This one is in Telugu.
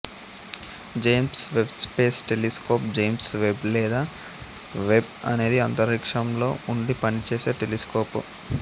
James Webb space telescope James Webb లేదా వెబ్బ్ అనేది అంతరిక్షంలో ఉండి పనిచేసే టెలిస్కోపు